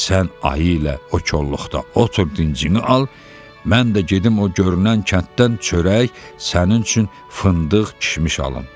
Sən ayı ilə o kolluqda otur dincini al, mən də gedim o görünən kənddən çörək sənin üçün fındıq, kişmiş alım.